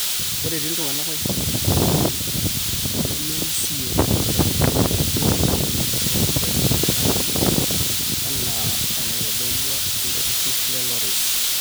ore entii ooltung'anak oirag sipitali nemerisio toosipitalini ooloopeny o sipitali esirkali enaa enaitodolua ilo turrur le lorenz